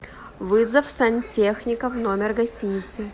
вызов сантехника в номер гостиницы